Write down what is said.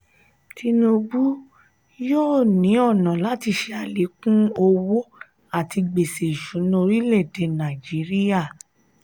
tinubu yóò ní ọnà láti ṣe alekun owó àti gbèsè ìṣúná orílè-èdè nàìjíríà.